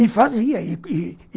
E fazia e e